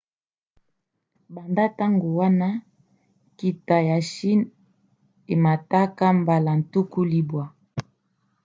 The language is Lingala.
banda ntango wana nkita ya chine emata mbala 90